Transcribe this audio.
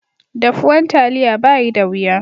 Daffuwan taliya bayi da wiya.